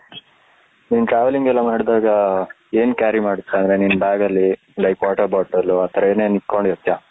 ನೀನು travelling ಎಲ್ಲ ಮಾಡಿದಾಗ , ಏನ್ carry ಮಾಡ್ತ್ಯಾ ಅಂದ್ರೆ ನಿನ್ನ bag ಅಲ್ಲಿ like water bottle ಆತರ ಏನೇನ್ ಇಟ್ಕೊಂಡಿರ್ತಿಯಾ.